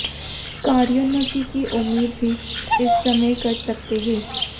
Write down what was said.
कार्योन्नति की उम्मीद भी इस समय कर सकते हैं